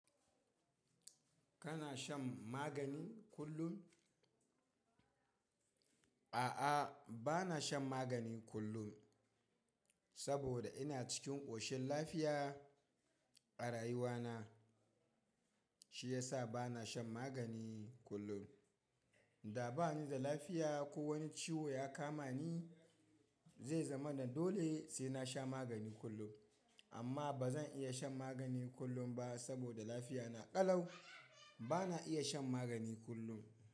Kana shan magani kullum? A'a, ba na shan magani kullum saboda ina cikin ƙoshin lafiya a rayuwana. Shi ya sa ba na shan magani kullum. Da ba ni da lafiya ko wani ciwo ya kama ni, zai zama na dole sai na sha magani kullum. Amma ba zan iya shan magani kullum ba saboda lafiyana ƙalau. Ba na iya shan magani kullum.